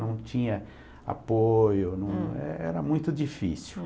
Não tinha apoio, não, é era muito difícil.